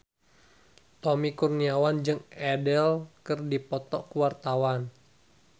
Tommy Kurniawan jeung Adele keur dipoto ku wartawan